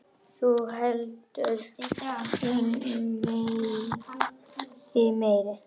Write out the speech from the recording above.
Þú heldur þig meiri.